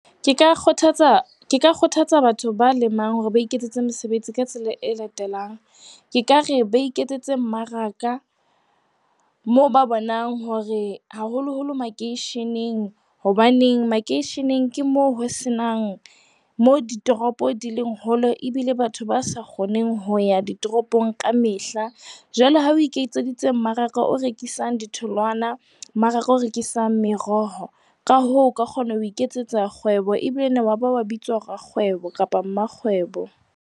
Ke ka kgothatsa batho ba lemang hore ba iketsetse mesebetsi ka tsela e latelang, ke ka re ba iketsetse mmaraka moo ba bonang hore haholoholo makeisheneng hobane makeisheneng ke moo ditoropo di leng hole ebile batho ba sa kgoneng ho ya ditoropong ka mehla. Jwale, ha o iketseditse mmaraka o rekisang ditholwana, mmaraka o rekisang meroho, ka hoo, o ka kgona ho iketsetsa kgwebo, ebile wa ba wa bitswa rakgwebo kapa mmakgwebo.